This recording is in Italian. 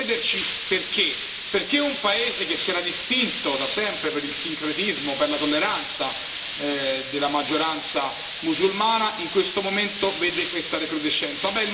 Viene da chiederci perché, perché un paese che si era distinto da sempre per il sincretismo, per la tolleranza della maggioranza musulmana, in questo momento vede questa recrudescenza.